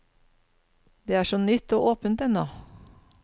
Det er så nytt og åpent ennå.